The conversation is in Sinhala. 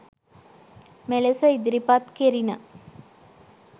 මෙලෙස ඉදිරිපත් කෙරිණ.